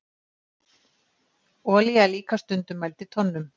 olía er líka stundum mæld í tonnum